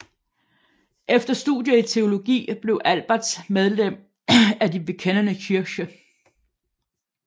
Efter studier i teologi blev Albertz medlem af Die bekennende Kirche